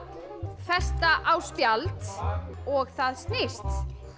festa á spjald og það snýst